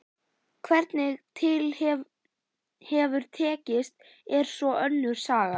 Hvernig til hefur tekist er svo önnur saga.